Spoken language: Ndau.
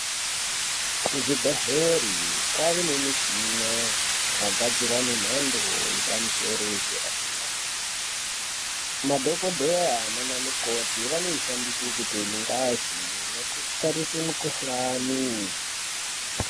Kuzvibhedhlere kwave nemishina yakagadzirwa nemhando yepamusoro yedera-dera. Madhokodheya naanamikoti vanoishandise kutore ngazi nekutarise mikhuhlani.